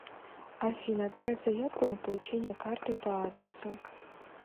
афина отправь заявку на получение карты по адресу